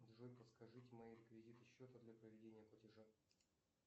джой подскажите мои реквизиты счета для проведения платежа